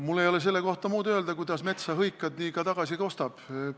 Mul ei ole selle kohta öelda muud, kui et kuidas metsa hõikad, nii ka tagasi kostab.